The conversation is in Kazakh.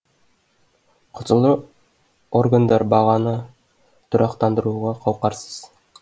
құзырлы органдар бағаны тұрақтандыруға қауқарсыз